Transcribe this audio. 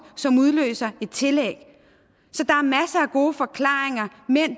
som udløser et tillæg så der er masser af gode forklaringer mænd